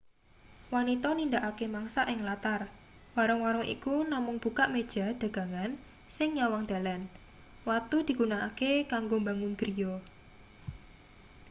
wanita nindakake mangsak ing latar warung-warung iku namung bukak meja dagangan sing nyawang dalan watu digunakake kanggo mbangun griya